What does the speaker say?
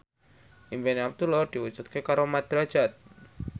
impine Abdullah diwujudke karo Mat Drajat